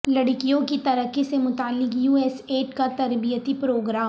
لڑکیوں کی ترقی سے متعلق یو ایس ایڈ کا تربیتی پروگرام